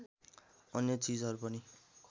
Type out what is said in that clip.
अन्य चिजहरू पनि